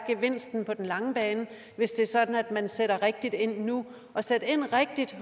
på den lange bane hvis det er sådan at man sætter rigtigt ind nu at sætte rigtigt